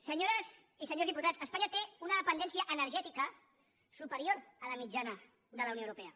senyores i senyors diputats espanya té una dependència energètica superior a la mitjana de la unió europea